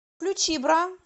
включи бра